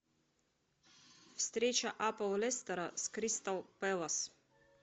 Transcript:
встреча апл лестера с кристал пэлас